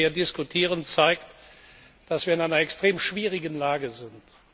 Was wir hier diskutieren, zeigt, dass wir in einer extrem schwierigen Lage sind.